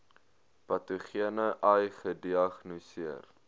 patogene ai gediagnoseer